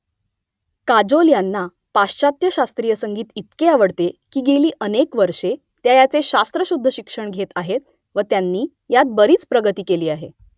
काजोल यांना पाश्चात्य शास्त्रीय संगीत इतके आवडते की गेली अनेक वर्षे त्या याचे शास्त्रशुद्ध शिक्षण घेत आहेत व त्यांनी यात बरीच प्रगती केली आहे